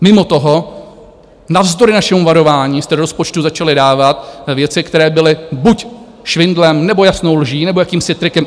Mimo toho - navzdory našemu varování - jste do rozpočtu začali dávat věci, které byly buď švindlem, nebo jasnou lží, nebo jakýmsi trikem.